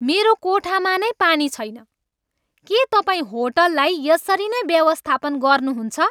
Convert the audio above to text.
मेरो कोठामा नै पानी छैन! के तपाईँ होटललाई यसरी नै व्यवस्थापन गर्नुहुन्छ?